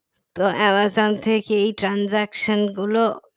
তো অ্যামাজন থেকে এই transaction গুলো